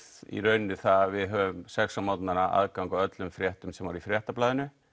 það að sex á morgnanna aðgang af öllum fréttum sem voru í Fréttablaðinu